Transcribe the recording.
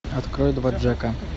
открой два джека